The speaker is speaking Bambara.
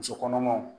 Muso kɔnɔmaw